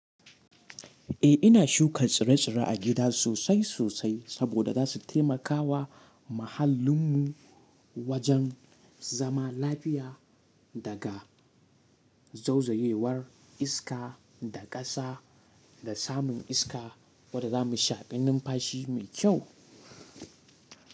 Eh, ina shuka tsire-tsire a gida sosai sosai, saboda za su taimakawa muhallinmu, wajen zama lafiya daga zauzayewar iska, da ƙasa, da samun iska wadda za mu shaƙi numfashi mai kyau.